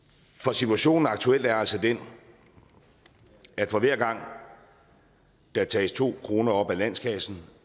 situationen aktuelt er altså den at for hver gang der tages to kroner op af landskassen